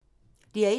DR1